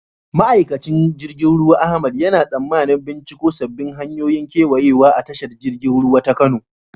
Ma'aikacin jirgin ruwa Ahmad yana tsammanin binciko sabbin hanyoyin kewayawa a tashar jirgin ruwa ta Kano.